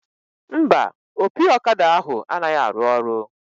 Mba, opi ọkada ahụ anaghị arụ ọrụ